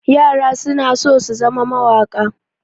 Yara suna so su zama mawaƙa.